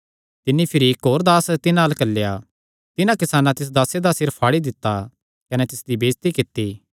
तिन्नी भिरी इक्क होर दास तिन्हां अल्ल घल्लेया तिन्हां किसानां तिस दास दा सिर फाड़ी दित्ता कने तिसदी बेज्जती कित्ती